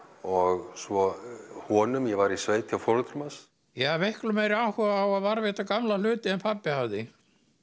og svo honum ég var í sveit hjá foreldrum hans ég hafði miklu meiri áhuga á að varðveita gamla hluti en pabbi hafði